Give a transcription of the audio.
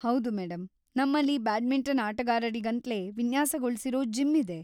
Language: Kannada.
ಹೌದು ಮೇಡಂ, ನಮ್ಮಲ್ಲಿ ಬ್ಯಾಡ್ಮಿಂಟನ್‌ ಆಟಗಾರರಿಗಂತ್ಲೇ ವಿನ್ಯಾಸಗೊಳ್ಸಿರೋ ಜಿಮ್‌ ಇದೆ.